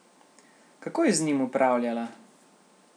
Kako je z njim upravljala?